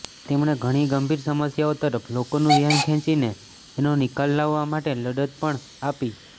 તેમણે ઘણી ગંભીર સમસ્યાઓ તરફ લોકોનું ધ્યાન ખેંચીને તેનો નિકાલ લાવવા માટે લડત પણ આપી